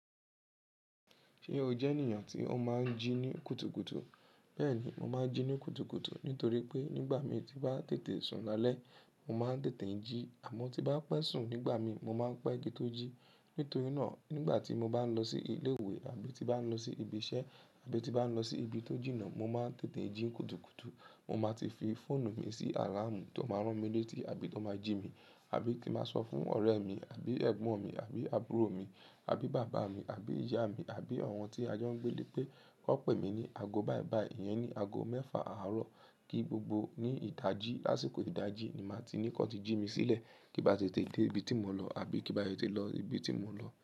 Sébo jé ènìyàn tó máa jí ní kùtùkùtù. Bẹ́ẹ̀ni, mo máa ń jí ní kùtùkùtù nítorí pé nígbà mi ti bá tètè sùn lálẹ́, mo máa ń tètè jí àmọ́ tí bá pẹ́ sùn nígbà mi, mo máa ń pé ki tó jí. Nítorí náà nigba tí mo bá lo sí ilé ìwé àbí tí mo bá lo sí ibi isé àbí tí mo bá lo sí ibi tó jìnà mo máa tètè jí ní kùtùkùtù mo máa ti fi fóönu mi si àlàmù to máa rán mi létí àbí kí máa so fún òré mi àbí ègbón mi àbí àbúrò mi àbí bàbá mi àbí ìyá mi àbí àwọn tí a jọ ń gbé lé pé kí wọ́n pè mí ní ago báìbàì, ìyẹn ni ago mẹ́fà àárọ̀ kí gbogbo ní ìta jí lásìkò ìdájí ni màá ti ní kí wọ́n ti jí mi sílẹ̀ kí bá tètè dé ibi tí mò ń lọ àbí kí bá tètè lọ ibi tí mò ń lọ.